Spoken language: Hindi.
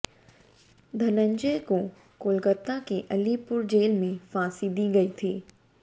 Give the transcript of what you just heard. धनंजय को कोलकाता के अलीपुर जेल में फांसी दी गई थी